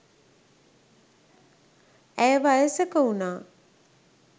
ඇය වයසක වුනා